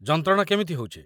ଯନ୍ତ୍ରଣା କେମିତି ହଉଚି?